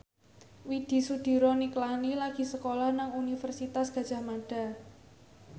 Widy Soediro Nichlany lagi sekolah nang Universitas Gadjah Mada